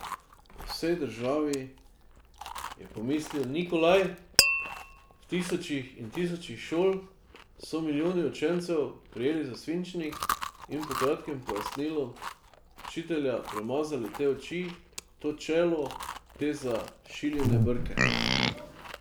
Po vsej državi, je pomislil Nikolaj, v tisočih in tisočih šol so milijoni učencev prijeli za svinčnik in po kratkem pojasnilu učitelja premazali te oči, to čelo, te zašiljene brke ...